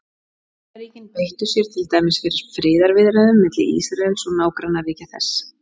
Bandaríkin beittu sér til dæmis fyrir friðarviðræðum milli Ísraels og nágrannaríkja þess.